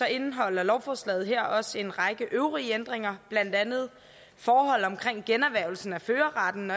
indeholder lovforslaget her også en række øvrige ændringer blandt andet forhold omkring generhvervelsen af førerretten